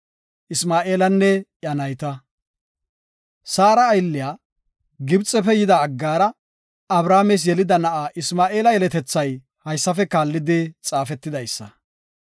Saara aylliya, Gibxefe yida Aggaara, Abrahaames yelida na7a Isma7eela yeletethay haysafe kaallidi xaafetidaysa.